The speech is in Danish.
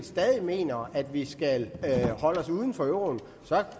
stadig mener at vi skal holde os uden for euroen så